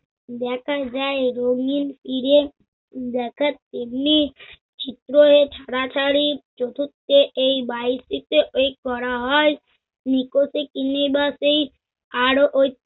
দেখা যায় রঙ্গিন তীরে দেখা এমনি চিত্র এ ছাড়াছাড়ি চতুর্থ এই বাড়িটিতে এই করা হয় নিকটে কিনিবা সেই আর ওই